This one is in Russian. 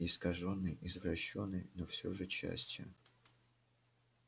искажённой извращённой но всё же частью